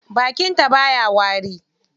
Bakin ta baya wari.